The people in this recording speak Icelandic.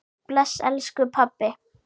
Bless elsku pabbi.